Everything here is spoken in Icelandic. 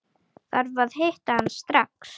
Þarf að hitta hann strax.